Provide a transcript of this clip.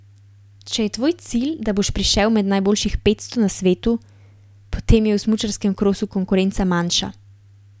Če je tvoj cilj, da boš prišel med najboljših petsto na svetu, potem je v smučarskem krosu konkurenca manjša.